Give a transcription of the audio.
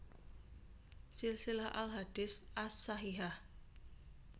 Silsilah al Ahadits ash Shahihah